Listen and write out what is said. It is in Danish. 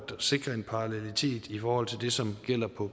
sikre en parallelitet i forhold til det som gælder på